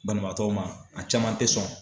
Banabaatɔw ma a caman tɛ sɔn